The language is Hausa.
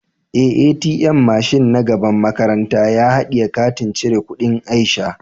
Eh, "ATM " mashin na gaban makaranta ya hadiye katin cire kudin Aisha.